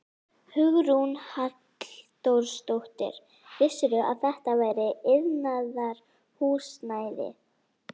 Hugrún Halldórsdóttir: Vissirðu að þetta væri iðnaðarhúsnæði?